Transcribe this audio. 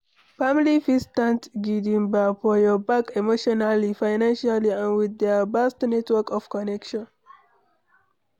Family fit stand gidigba for your back emotionally, financially and with their vast network of connection